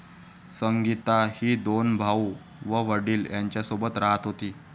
संगीता ही दोन भाऊ व वडील यांच्यासोबत राहत होती.